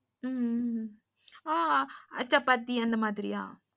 உம் ஆ சப்பாத்தி அந்த மாதிரியா?